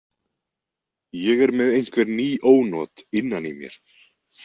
Ég er með einhver ný ónot innan í mér.